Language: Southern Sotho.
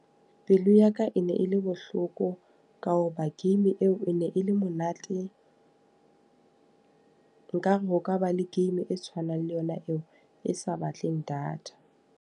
Pelo ya ka e ne e le bohloko, ka hoba game eo e ne e le monate. Nkare ho ka ba le game e tshwanang le yona eo. E sa batleng data.